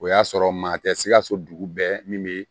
O y'a sɔrɔ maa tɛ sikaso dugu bɛɛ min bɛ